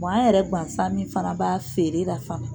an yɛrɛ gansan min fana b'a feere la